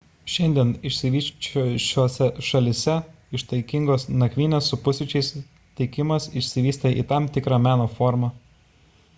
šiandien išsivysčiusiose šalyse ištaigingos nakvynės su pusryčiais teikimas išsivystė į tam tikrą meno formą